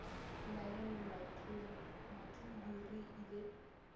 nna le mathuhu re ile